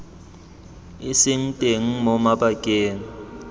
e seng teng mo mabakeng